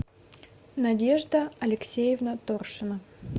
надежда алексеевна торшина